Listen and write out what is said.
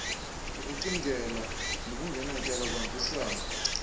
ukucingela ngokungenatyala kuhambisana